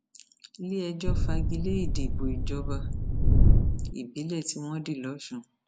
iléẹjọ fagi lé ìdìbò ìjọba ìbílẹ tí wọn di lọsùn